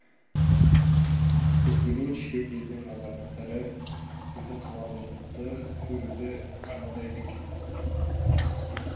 көптеген шет елдің азаматтары біздің қаламызды көруді армандайды екен